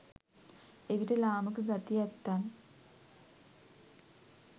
එවිට ලාමක ගති ඇත්තන්